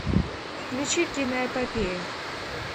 включи киноэпопею